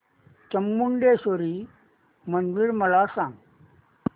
चामुंडेश्वरी मंदिर मला सांग